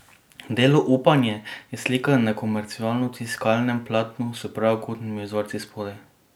Delo Upanje je slika na komercialno tiskanem platnu s pravokotnimi vzorci spodaj.